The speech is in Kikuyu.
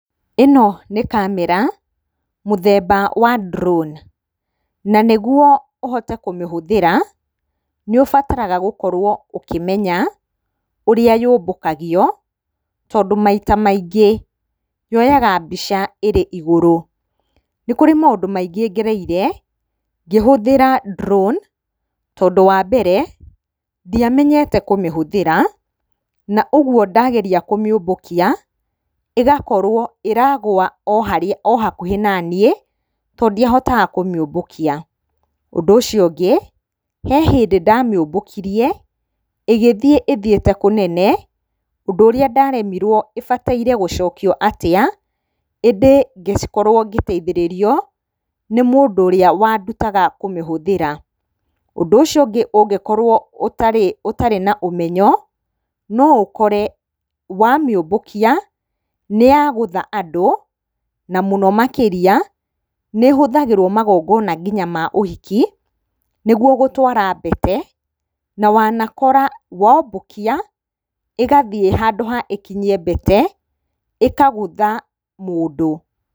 Ĩno nĩ kamera mũthemba wa drone na nĩ guo uhote kũmĩhũthĩra nĩ ũbataraga gũkorwo ũkĩmenya ũrĩa yũmbũkagio, tondũ maita mingĩ yoyaga mbica ĩrĩ igũru. Nĩ kũrĩ maũndũ maingĩ ngereire ngĩhũthĩra drone tondũ wa mbere, ndiamenyete kũmĩhũthĩra na ũguo ndageria kũmĩũmbũkia, ĩgakorwo ĩragwo o hakuhĩ na niĩ to ndiahotaga kũmĩũmbũkia. Ũndũ ũcio ũngĩ, he hĩndĩ ndamĩũmbũkirie ĩgĩthiĩ ĩthiĩte kũnene, ũndũ ũrĩa ndaremirwo ĩbataire gũcokio atĩa, ĩndĩ ngĩkorwo ngĩteithĩrĩrio nĩ mũndũ ũrĩa wa ndutaga kũmĩhũthĩra. Ũndũ ũcio ũngĩ ũngĩkora ũtarĩ na ũmenyo no ũkore wamĩũmbũkia nĩ yagũtha andũ, na mũno makĩria nĩ ĩhũthagĩrwo magongona nginya ma ũhiki, nĩguo gũtwara mbete, na wanakora wombũkia, ĩgathiĩ handũ ha ĩkinyie mbete, ĩkagũtha mũndũ.